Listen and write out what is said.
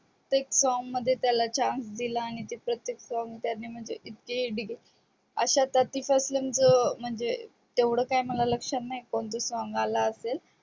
प्रत्येक song मध्ये त्याला चान्स दिला आणि प्रत्येक song त्यांनी आशा topic पासून म्हणजे तेव्हड काही मला लक्षात नाही की कोणत song आला असेल